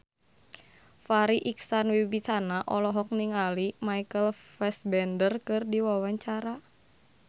Farri Icksan Wibisana olohok ningali Michael Fassbender keur diwawancara